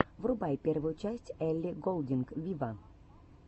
врубай первую часть элли голдинг виво